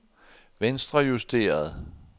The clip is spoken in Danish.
venstrejusteret